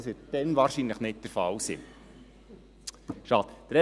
Das wird dann wahrscheinlich nicht der Fall sein, schade.